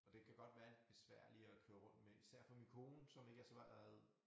Og den kan godt være lidt besværlig at køre rundt med især for min kone som ikke er så meget